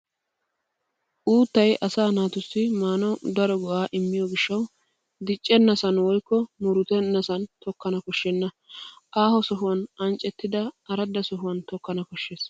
Uuttay asaa naatussi maanawu daro go'aa immiyo gishshawu diccenasan woykko muruttennasan tokkana koshshenna. Aaho sohuwan anccettida aradda sohuwan tokkana koshshes.